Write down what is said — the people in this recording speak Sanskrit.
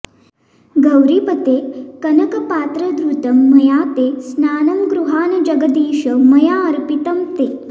गौरीपते कनकपात्रधृतं मया ते स्नानं गृहाण जगदीश मयाऽर्पितं ते